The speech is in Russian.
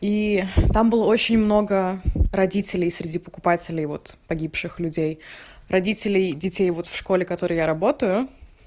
и там было очень много родителей среди покупателей вот погибших людей родителей детей вот в школе которой я работаю